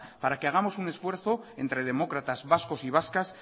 para que hagamos un esfuerzo entre demócratas vascos y vascas